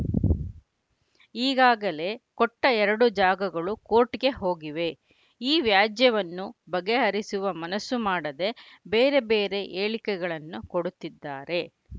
ಈಗಾಗಲೇ ಕೊಟ್ಟಎರಡು ಜಾಗಗಳು ಕೋರ್ಟ್‌ಗೆ ಹೋಗಿವೆ ಆ ವ್ಯಾಜ್ಯವನ್ನು ಬಗೆಹರಿಸುವ ಮನಸ್ಸು ಮಾಡದೆ ಬೇರೆ ಬೇರೆ ಹೇಳಿಕೆಗಳನ್ನು ಕೊಡುತ್ತಿದ್ದಾರೆ